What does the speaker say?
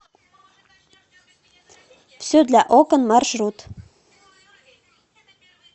все для окон маршрут